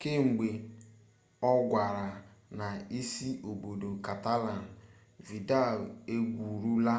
kemgbe ọ kwagara na isi obodo catalan vidal egwurula